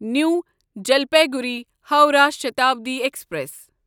نیو Jalpaiguri Howrah Shatabdi express